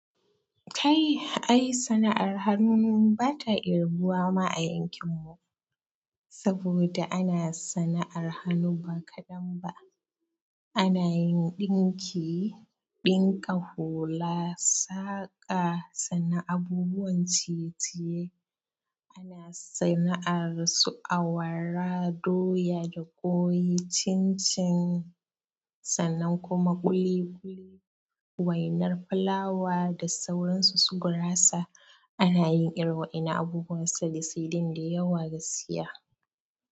Kai, ai sana'ar hannu ba ta kirbuwa ma a yankin mu, saboda ana sana'ar hannu ba kaɗan ba, ana yin ɗinki, ɗinka hula, saƙa, sana'an abubuwan ciye-ciye, ana sana'ar su awara, doya da ƙwoyi, cincin, sannan kuma ƙuli-ƙuli, wainar fulawa da sauran su gurasa. Ana yin iri wa ina abubuwan saisidin da yawa gaskiya.